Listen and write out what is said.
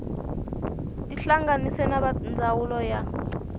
tihlanganise na va ndzawulo ya